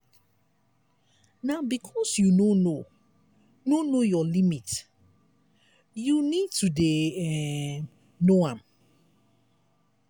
na because you no know no know your limit you need to dey um know am.